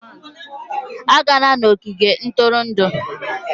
Agala n'ogige ntụrụndụ!